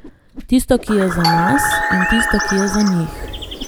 Tisto, ki je za nas, in tisto, ki je za njih.